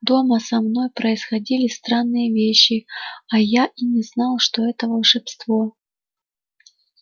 дома со мной происходили странные вещи а я и не знал что это волшебство